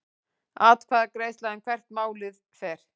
Atkvæðagreiðsla um hvert málið fer